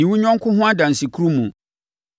Nni wo yɔnko ho adansekurumu